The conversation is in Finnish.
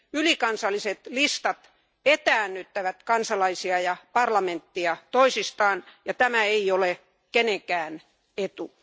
Ylikansalliset listat etäännyttävät kansalaisia ja parlamenttia toisistaan, ja tämä ei ole kenenkään etu.